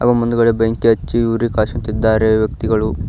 ಹಾಗೂ ಮುಂದ್ಗಡೆ ಬೆಂಕಿ ಹಚ್ಚಿ ಉರಿ ಕಾಯಸುತ್ತಿದ್ದಾರೆ ವ್ಯಕ್ತಿಗಳು--